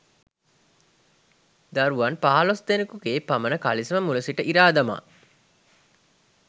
දරුවන් පහළොස්දෙනෙකුගේ පමණ කලිසම මුලසිට ඉරා දමා